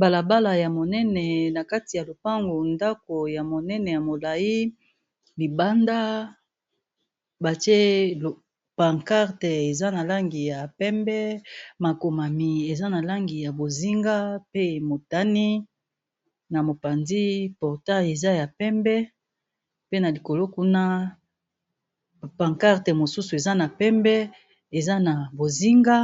Balabala ya monene na kati ya lopango ndako ya monene ya molai libanda batie pancarte eza na langi ya pembe, makomami eza na langi ya bozinga, pe motani na mopandi porta eza ya pembe pe na likolo kuna pankarte mosusu eza na pembe eza na bozinga